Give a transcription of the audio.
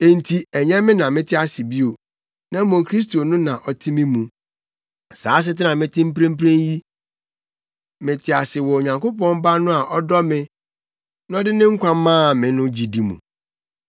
enti ɛnyɛ me na mete ase bio, na mmom Kristo no na ɔte me mu. Saa asetena a mete mu mprempren yi, mete ase wɔ Onyankopɔn Ba no a ɔdɔ me na ɔde ne nkwa maa me no gyidi mu.